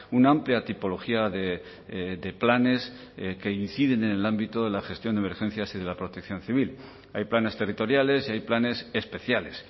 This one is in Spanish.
una amplia tipología de planes que inciden en el ámbito de la gestión de emergencias y de la protección civil hay planes territoriales y hay planes especiales